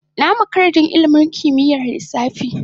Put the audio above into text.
Na makara don ilimin kimiyyar lissafi.